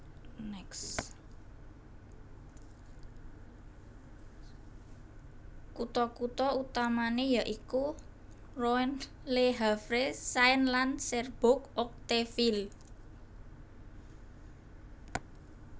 Kutha kutha utamané ya iku Rouen Le Havre Caen lan Cherbourg Octeville